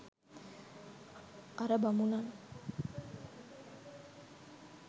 අර බමුණන්